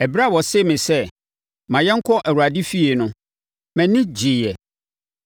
Ɛberɛ a wɔsee me sɛ, “Ma yɛnkɔ Awurade fie” no, mʼani gyeeɛ.